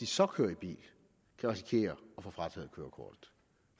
så kører i bil kan risikere at få frataget kørekortet